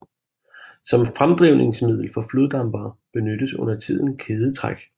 Som fremdrivningsmiddel for floddampere benyttes undertiden kædetræk